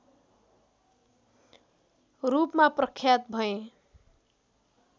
रूपमा प्रख्यात भए